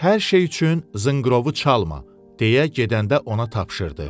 Hər şey üçün zınqırovu çalma, deyə gedəndə ona tapşırdı.